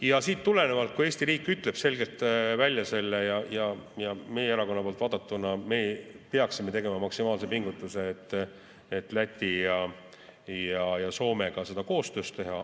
Ja siit tulenevalt, kui Eesti riik ütleb selle selgelt välja, siis meie erakonna poolt vaadatuna me peaksime tegema maksimaalse pingutuse, et Läti ja Soomega seda koostöös teha.